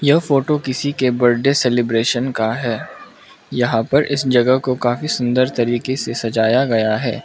यह फोटो किसी के बड्डे सेलिब्रेशन का है यहां पर इस जगह को काफी सुंदर तरीके से सजाया गया हैं।